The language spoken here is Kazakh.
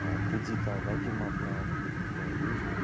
ыыы кредит алып әкемнің атына алып кредитті өзім